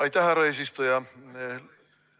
Aitäh, härra eesistuja!